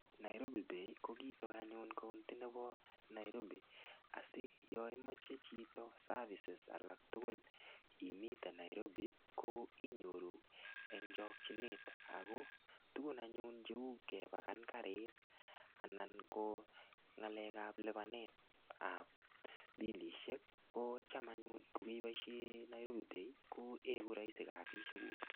Nairobi pay ko kitoo anyun koudi nebo Nairobi asiyo imoche chito service alak tukul omiten Nairobi Iiyoru en chokinet Ako tukun anyun cheu kepaken karit anan ko ngalekab lipanetab bilishek ko Cham anyun ko keboishen Nairobi pay ko iku roisi kasishek kuk.